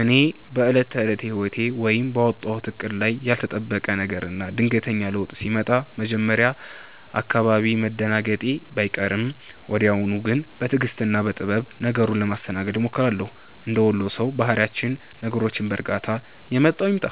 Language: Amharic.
እኔ በዕለት ተዕለት ሕይወቴ ወይም ባወጣሁት ዕቅድ ላይ ያልተጠበቀ ነገርና ድንገተኛ ለውጥ ሲመጣ መጀመሪያ አካባቢ መደናገጤ ባይቀርም፣ ወዲያው ግን በትዕግሥትና በጥበብ ነገሩን ለማስተናገድ እሞክራለሁ። እንደ ወሎ ሰው ባህሪያችን ነገሮችን በዕርጋታና «የመጣው ይምጣ፣